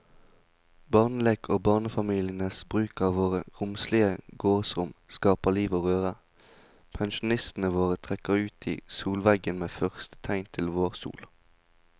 Barnelek og barnefamilienes bruk av våre romslige gårdsrom skaper liv og røre, pensjonistene våre trekker ut i solveggen ved første tegn til vårsol.